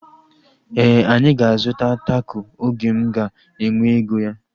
Éè, anyị ga-azuta tako oge m ga-enwe ego ya